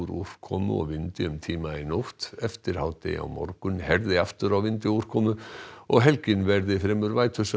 úrkomu og vindi um tíma í nótt eftir hádegi á morgun herði aftur á vindi og úrkomu og helgin verði fremur